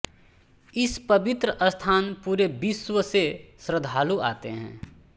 इस पवित्र स्थान पुरे विश्व से श्रद्धालु आते हैं